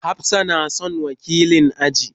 Hafsat na son wakilan class.